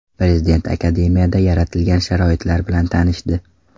Prezident akademiyada yaratilgan sharoitlar bilan tanishdi.